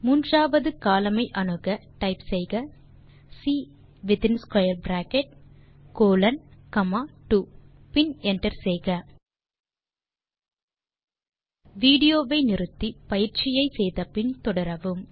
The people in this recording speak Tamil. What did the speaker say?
மூன்றாவது கோலம்ன் ஐ அணுக டைப் செய்க C within square bracket colon comma 2 பின் என்டர் செய்க வீடியோ வை நிறுத்தி பயிற்சியை செய்து முடித்து பின் தொடரவும்